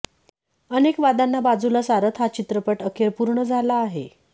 अनेक वादांना बाजूला सारत हा चित्रपट अखेर पूर्ण झाला आहे